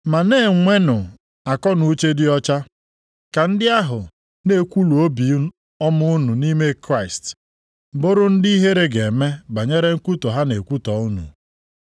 Ma na-enwenụ akọnuche dị ọcha, ka ndị ahụ na-ekwulu ibi obi ọma unu nʼime Kraịst, bụrụ ndị ihere ga-eme banyere nkwutọ ha na-ekwutọ unu.